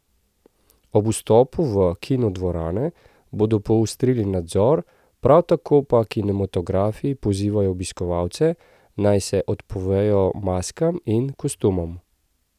Ob vstopu v kinodvorane bodo poostrili nadzor, prav tako pa kinematografi pozivajo obiskovalce, naj se odpovejo maskam in kostumom.